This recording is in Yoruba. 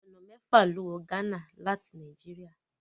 Ọ̀nà mẹ́fà ló wọ Ghana láti Nàìjíríà.